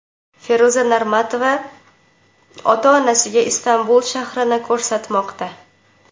Feruza Normatova ota-onasiga Istanbul shahrini ko‘rsatmoqda.